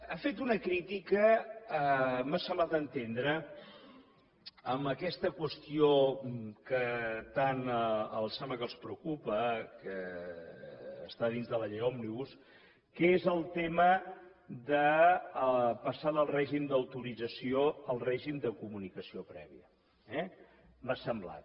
ha fet una crítica m’ha semblat entendre en aquesta qüestió que tant em sembla que els preocupa que està dintre de la llei òmnibus que és el tema de passar del règim d’autorització al règim de comunicació prèvia eh m’ho ha semblat